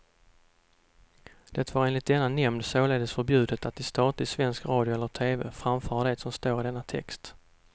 Det var enligt denna nämnd således förbjudet att i statlig svensk radio eller tv framföra det som står i denna text.